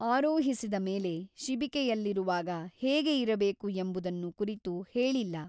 ಆರೋಹಿಸಿದ ಮೇಲೆ ಶಿಬಿಕೆಯಲ್ಲಿರುವಾಗ ಹೇಗೆ ಇರಬೇಕು ಎಂಬುದನ್ನು ಕುರಿತು ಹೇಳಿಲ್ಲ.